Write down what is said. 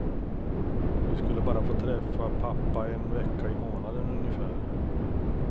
Vi skulle bara få träffa pappa en vecka i månaden ungefär.